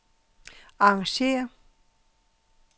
arrangér